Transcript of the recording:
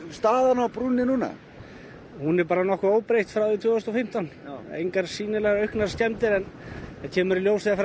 staðan á brúnni núna hún er óbreytt frá tvö þúsund og fimmtán en það kemur í ljós þegar